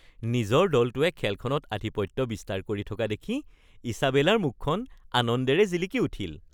নিজৰ দলটোৱে খেলখনত আধিপত্য বিস্তাৰ কৰি থকা দেখি ইছাবেলাৰ মুখখন আনন্দেৰে জিলিকি উঠিল।